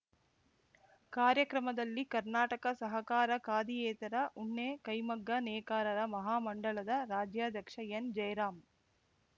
ಕಾರ್ಯಕ್ರಮದಲ್ಲಿ ಕರ್ನಾಟಕ ಸಹಕಾರ ಖಾದಿಯೇತರ ಉಣ್ಣೆ ಕೈಮಗ್ಗ ನೇಕಾರರ ಮಹಾಮಂಡಳದ ರಾಜ್ಯಾಧ್ಯಕ್ಷ ಎನ್‌ಜಯರಾಂ